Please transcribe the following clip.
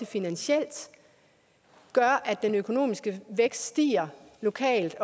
finansielt er at den økonomiske vækst stiger lokalt